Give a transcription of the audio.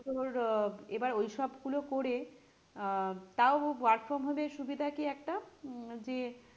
তোর আহ এবার ওইসব গুলো করে আহ তাও work from home এর সুবিধা কি একটা উহ যে